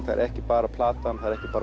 það er ekki bara platan ekki bara